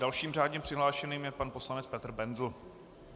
Dalším řádně přihlášeným je pan poslanec Petr Bendl.